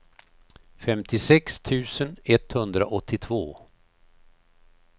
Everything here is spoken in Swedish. femtiosex tusen etthundraåttiotvå